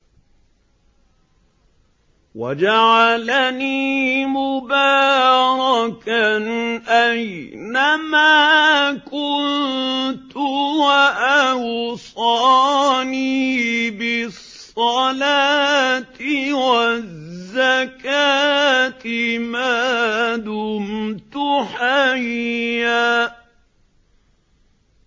وَجَعَلَنِي مُبَارَكًا أَيْنَ مَا كُنتُ وَأَوْصَانِي بِالصَّلَاةِ وَالزَّكَاةِ مَا دُمْتُ حَيًّا